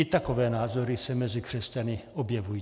I takové názory se mezi křesťany objevují.